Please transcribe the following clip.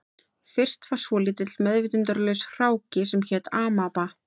Fyrst var svolítill meðvitundarlaus hráki sem hét amaba